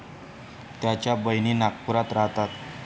त्याच्या बहिणी नागपुरात राहतात.